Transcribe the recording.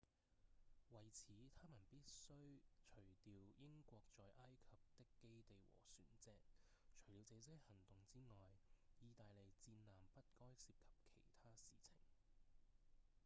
為此他們必須除掉英國在埃及的基地和船隻除了這些行動之外義大利戰艦不該涉及其他事情